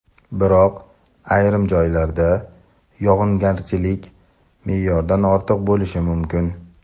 biroq ayrim joylarda yog‘ingarchilik me’yordan ortiq bo‘lishi mumkin.